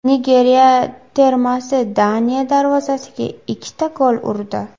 Nigeriya termasi Daniya darvozasiga ikkita gol urdi.